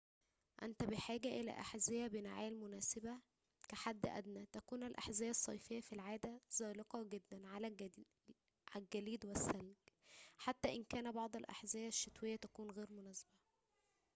أنت بحاجة إلى أحذية بنعال مناسبة كحدٍ أدنى تكون الأحذية الصيفية في العادة زلقة جداً على الجليد والثلج حتى إن بعض الأحذية الشتوية تكون غير مناسبة